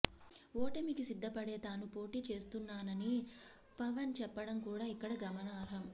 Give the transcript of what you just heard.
ఓటమికి సిద్ధపడే తాను పోటీ చేస్తున్నానని పవన్ చెప్పడం కూడా ఇక్కడ గమనార్హం